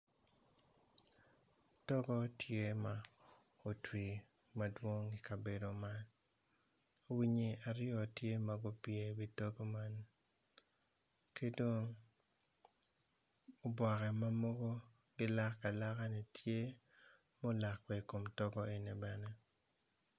Togo tye ma otwi madwong i kabedo man winyi aryo tye ma gupye iwi togo man ki dong oboke ma mogo gilak alakani tye ma olak bene i kom togo eni bene.